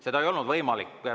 See ei olnud võimalik.